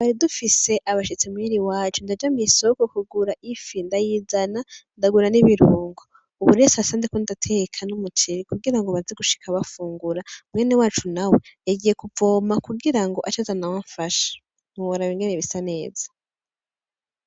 Twari dufise abashitsi muhira iwacu ndaja mw'isoko kugira ifi ndayizana ndagura n'ibirungo, ubu rero sasa ndiko ndateka n'umuceri kugirango baze gushika bafungura, mwene wacu nawe yagiye kuvoma kugirango ace aza amfashe ntiworaba ingene bisaneza.